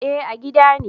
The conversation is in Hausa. Eh a gida ne